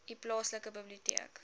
u plaaslike biblioteek